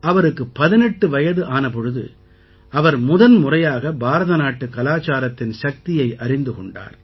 அவருக்கு 18 வயது ஆன பொழுது அவர் முதன்முறையாக பாரதநாட்டுக் கலாச்சாரத்தின் சக்தியை அறிந்து கொண்டார்